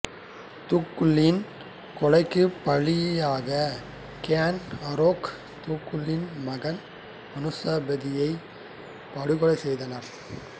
துங்குல்லின் கொலைக்குப் பழியாக Ken Arok துங்குல்லின் மகன் அனுசபதியால் படுகொலை செய்யப்பட்டான்